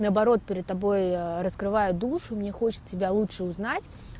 наоборот перед тобой раскрываю душу мне хочет тебя лучше узнать